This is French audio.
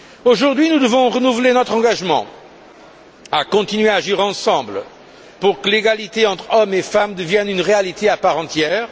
Aujourd'hui nous devons renouveler notre engagement à continuer à agir ensemble pour que l'égalité entre hommes et femmes devienne une réalité à part entière.